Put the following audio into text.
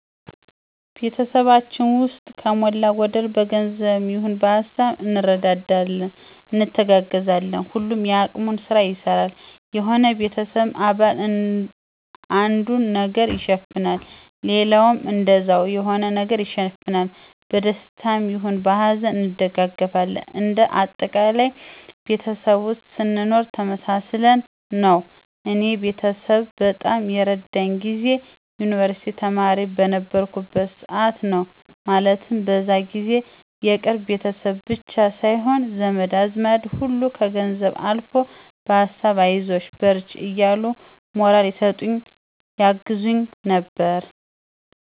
ቤተሰባችን ውስጥ ከሞላ ጎደል በገንዘብም ይሆን በሀሳብ እንረዳዳለን፣ እንተጋገዛለን። ሁሉም የአቅሙን ስራ ይሰራል። የሆነ የቤተሰብ አባል አንዱን ነገር ይሸፍናል ሌላውም እንደዛው የሆነ ነገር ይሸፍናል። በደስታም ይሁን በሀዘን እንደጋገፋለን እንደ አጠቃላይ ቤተሰብ ውስጥ ስንኖር ተመሳስለን ነው። እኔ ቤተሰብ በጣም የረዳኝ ጊዜ የዩንቨርስቲ ተማሪ በነበርኩበት ሰዓት ነው። ማለትም በዛ ጊዜ የቅርብ ቤተሰብ ብቻ ሳይሆን ዘመድ አዝማድ ሁሉ ከገንዘብም አልፎ በሀሳብ አይዞሽ በርቺ እያሉ ሞራል ይሰጡኝ ያግዙኝ ነበር።